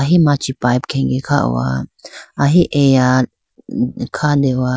ahi machi pipe khege kha howa ahi eya khande howa.